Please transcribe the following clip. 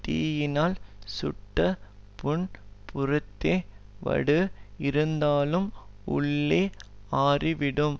தீயினால் சுட்ட புண் புறத்தே வடு இருந்தாலும் உள்ளே ஆறிவிடும்